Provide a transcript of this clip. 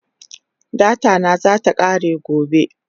Data na zasu kare gobe